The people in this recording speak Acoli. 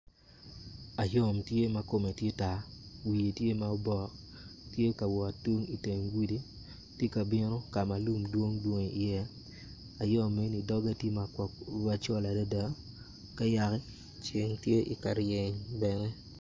Ayom tye ma kome tye tar wiye tye ma obok tye ka wot tung iteng gudi ti kabino ka lum dwong dwong iye ayom eni dogge tye macol adada ka yaki ceng tye ka ryen bene